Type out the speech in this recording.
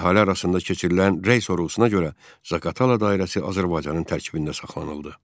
Əhali arasında keçirilən rəy sorğusuna görə, Zaqatala dairəsi Azərbaycanın tərkibində saxlanıldı.